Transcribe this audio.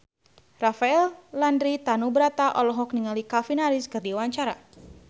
Rafael Landry Tanubrata olohok ningali Calvin Harris keur diwawancara